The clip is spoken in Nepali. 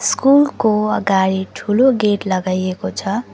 स्कुल को अगाडि ठूलो गेट लगाएको छ।